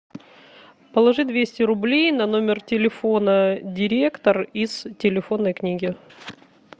положи двести рублей на номер телефона директор из телефонной книги